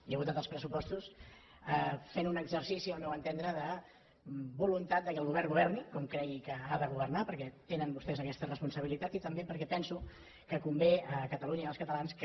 i he votat els pressupostos fent un exercici al meu entendre de voluntat que el govern governi com cregui que ha de governar perquè tenen vostès aquesta responsabilitat i també perquè penso que convé a catalunya i als catalans que